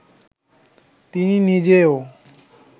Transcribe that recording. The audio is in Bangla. তিনি নিজেও